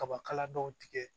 Kabakala dɔw tigɛ